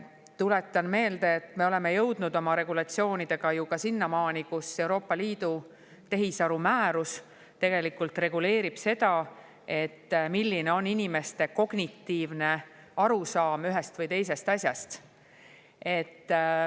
Tuletan meelde, et me oleme jõudnud oma regulatsioonidega sinnamaani, kus Euroopa Liidu tehisarumäärus reguleerib seda, milline on inimeste kognitiivne arusaam ühest või teisest asjast.